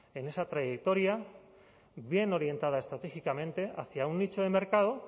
en esa trayectoria bien orientada estratégicamente hacia un nicho de mercado